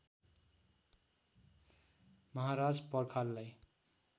महाराज पर्खाललाई